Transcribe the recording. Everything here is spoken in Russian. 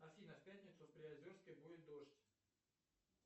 афина в пятницу в приозерске будет дождь